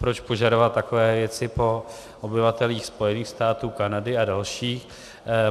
Proč požadovat takové věci po obyvatelích Spojených států, Kanady a dalších.